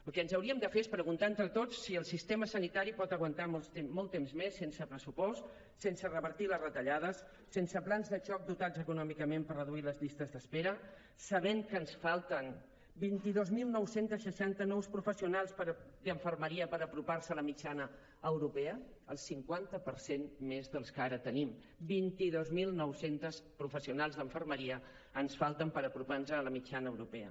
el que ens hauríem de fer és preguntar entre tots si el sistema sanitari pot aguantar molt temps més sense pressupost sense revertir les retallades sense plans de xoc dotats econòmicament per reduir les llistes d’espera sabent que ens falten vint dos mil nou cents i seixanta nous professionals d’infermeria per apropar se a la mitjana europea el cinquanta per cent més dels que ara tenim vint dos mil nou cents professionals d’infermeria ens falten per apropar nos a la mitjana europea